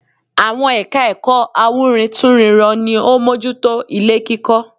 Àwọn ẹ̀ka ẹ̀kọ́ awúrintúnrinrọ ni ó mójú tó ilé kíkọ́